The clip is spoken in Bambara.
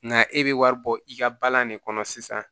Nka e bɛ wari bɔ i ka balan ne kɔnɔ sisan